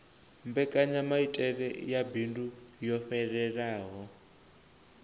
mbekanyamaitele ya bindu yo fhelelaho